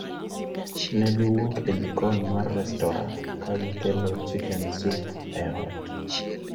Ne giwuok e jikon mar restora ka gikelo chicken soup e ot